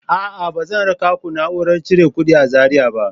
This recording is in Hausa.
A'a, ba zan raka ku na'urar cire kuɗi a Zariya ba.